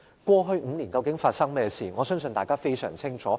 過去5年究竟發生何事，我相信大家非常清楚。